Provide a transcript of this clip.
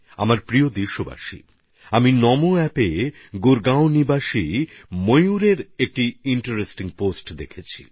আমার প্রিয় দেশবাসী আমি নমোঅ্যাপে গুরগাঁওর বাসিন্দা ময়ূরের একটা আকর্ষণীয় পোস্ট দেখেছি